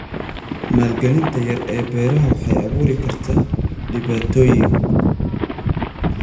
Maalgelinta yar ee beeraha waxay abuuri kartaa dhibaatooyin.